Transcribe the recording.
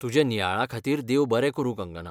तुज्या नियाळा खातीर देव बरें करूं कंगना.